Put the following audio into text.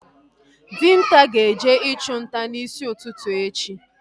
Dinta ga-eje ịchụ nta n'isi ụtụtụ echi